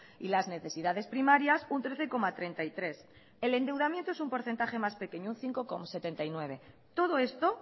y las necesidades primarias un trece coma treinta y tres el endeudamiento es un porcentaje más pequeño un cinco coma setenta y nueve todo esto